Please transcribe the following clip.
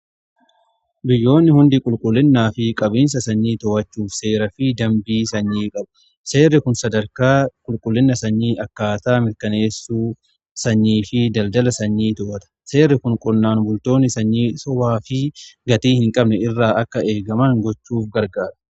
biyyoonni hundi qulqullinaa fi qabiinsa sanyii to'achuuf seeraa fi dambii sanyii qabu. seerri kun sadarkaa qulqullina sanyii akkaataa mirkaneessuu sanyii fi daldala sanyii to'ata. seerri kun qonnaan bultoonni sanyii sa'aa fi gatii hin qabne irraa akka eegaman gochuuf gargaara.